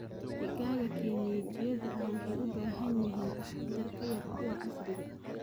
Digaaga kienyejidha ah waxay u baahan yihiin taxadar ka yar kuwa casriga ah.